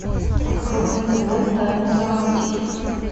открой на тв тайны галактики